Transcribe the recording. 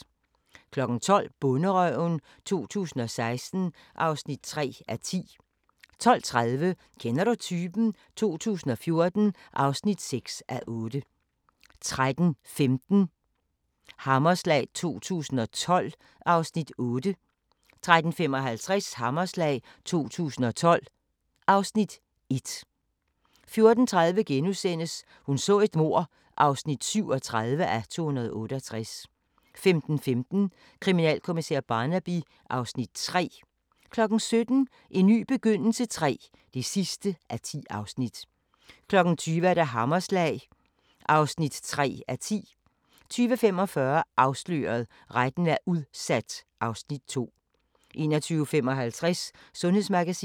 12:00: Bonderøven 2016 (3:10) 12:30: Kender du typen? 2014 (6:8) 13:15: Hammerslag 2012 (Afs. 8) 13:55: Hammerslag 2012 (Afs. 1) 14:30: Hun så et mord (37:268)* 15:15: Kriminalkommissær Barnaby (Afs. 3) 17:00: En ny begyndelse III (10:10) 20:00: Hammerslag (3:10) 20:45: Afsløret – Retten er udsat (Afs. 2) 21:55: Sundhedsmagasinet